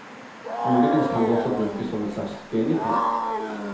Muligens kan det også brukes som en slags genitiv.